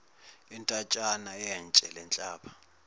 intatshana yetshe lenhlaba